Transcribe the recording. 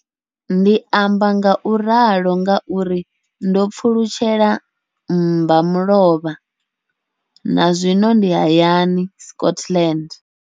Ndi amba ngauralo nga uri ndo pfulutshela mbamulovha na zwino ndi hayani, Scotland.